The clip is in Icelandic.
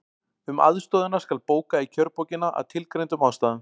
Um aðstoðina skal bóka í kjörbókina, að tilgreindum ástæðum.